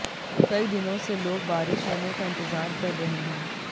कई दिनों से लोग बारिश होने का इंतजार कर रहे हैं